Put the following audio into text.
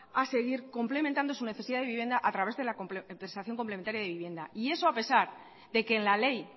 a seguir complementando su necesidad de vivienda a través de la compensación complementaria de vivienda y eso a pesar de que en la ley